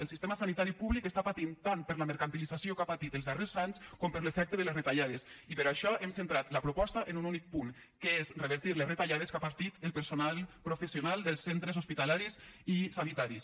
el sistema sanitari públic està patint tant per la mercantilització que ha patit els darrers anys com per l’efecte de les retallades i per això hem centrat la proposta en un únic punt que és revertir les retallades que ha patit el personal professional dels centres hospitalaris i sanitaris